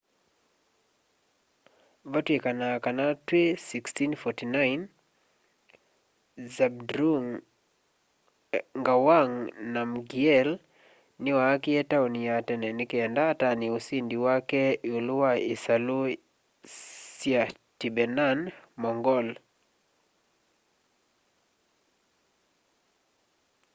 vatwikanaa kana twi 1649 zhabdrung ngawang namgyel niwaakie tauni ya tene nikenda atanie usindi wake iulu wa isalu sya tibetan-mongol